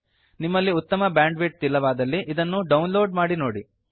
ನಿಮ್ಮಲ್ಲಿ ಉತ್ತಮ ಬ್ಯಾಂಡ್ವಿಡ್ತ್ ಇಲ್ಲವಾದಲ್ಲಿ ಇದನ್ನು ಡೌನ್ ಲೋಡ್ ಮಾಡಿ ನೋಡಿ